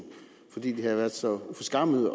fordi de havde været så uforskammede